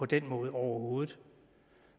den måde overhovedet